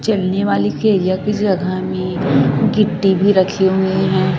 जलने वाली के एरिया की जगह में गिट्टी भी रखी हुई हैं।